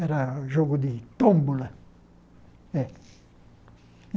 Era o jogo de tômbola. Eh